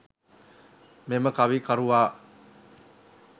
මෙම කවි කරුවා